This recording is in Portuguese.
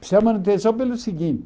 Precisa de manutenção pelo seguinte,